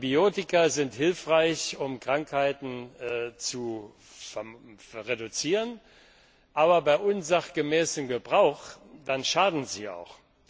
Antibiotika sind hilfreich, um Krankheiten zu reduzieren, aber bei unsachgemäßem Gebrauch schaden sie auch.